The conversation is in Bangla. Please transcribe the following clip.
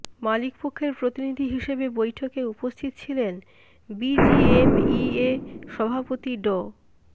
মালিক পক্ষের প্রতিনিধি হিসেবে বৈঠকে উপস্থিত ছিলেন বিজিএমইএ সভাপতি ড